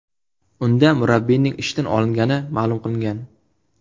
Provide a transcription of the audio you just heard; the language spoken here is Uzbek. Unda murabbiyning ishdan olingani ma’lum qilingan.